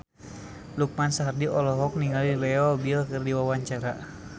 Lukman Sardi olohok ningali Leo Bill keur diwawancara